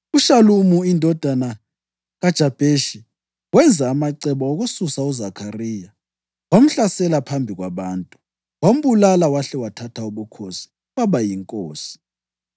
UShalumi indodana kaJabheshi wenza amacebo okususa uZakhariya wamhlasela phambi kwabantu, wambulala wahle wathatha ubukhosi waba yinkosi.